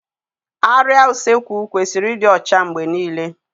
Árịá Usekwu kwesịrị ịdị ọcha mgbe niile